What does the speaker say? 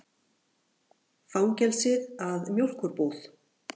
Fangelsið að mjólkurbúð.